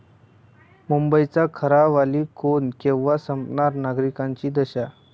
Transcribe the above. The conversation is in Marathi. मुंबईचा खरा वाली कोण, केव्हा संपणार नागरिकांची दशा?